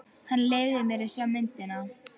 Hann leyfði mér að sjá myndina.